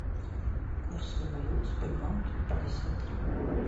курсы валюты в сбербанке пятьдесят три